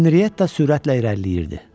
Henriyetta sürətlə irəliləyirdi.